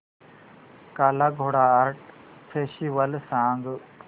काला Ghoda art festival सांग